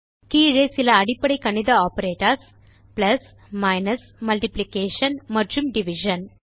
கீழே சில அடிப்படை கணித ஆப்பரேட்டர்ஸ் பிளஸ் மைனஸ் மல்டிப்ளிகேஷன் மற்றும் டிவிஷன்